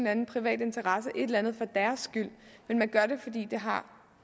anden privat interesse et eller andet for deres skyld men man gør det fordi